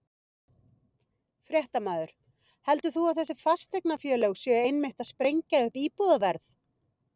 Fréttamaður: Heldur þú að þessi fasteignafélög séu einmitt að sprengja upp íbúðaverð?